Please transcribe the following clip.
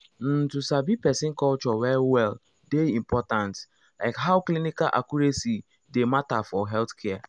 um to sabi person culture well well dey important um like how clinical accuracy dey matter for healthcare.